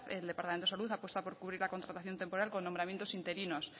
el departamento de salud apuesta por cubrir la contratación temporal con nombramientos interinos